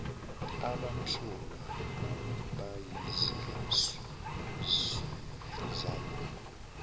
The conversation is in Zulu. abamsulwa abayizisulu zalokhu